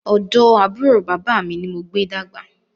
Ọ̀dọ̀ àbúrò bàbá mi ni mo gbé dàgbà